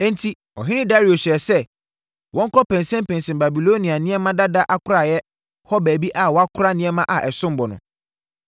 Enti, ɔhene Dario hyɛɛ sɛ, wɔnkɔnpɛnsɛmpɛnsɛm Babilonia nneɛma dada akoraeɛ hɔ baabi a wɔkora nneɛma a ɛsom bo no.